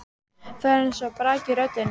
Það er eins og braki í röddinni.